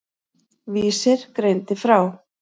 Vísir greindi frá.